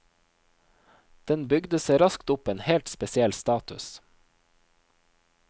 Den bygde seg raskt opp en helt spesiell status.